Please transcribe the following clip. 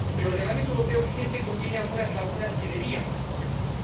Pero el Reglamento europeo vigente contiene algunas lagunas que debíamos corregir.